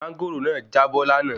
Máńgòrò náà já bọ́ láàná